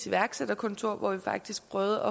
iværksætterkontor hvor vi faktisk prøvede